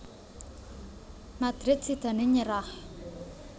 Madrid sidané nyerah